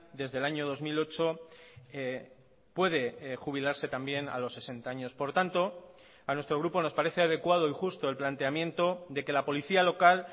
desde el año dos mil ocho puede jubilarse también a los sesenta años por tanto a nuestro grupo nos parece adecuado y justo el planteamiento de que la policía local